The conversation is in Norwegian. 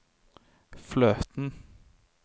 fløten